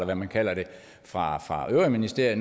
hvad man kalder det fra øvrige ministerier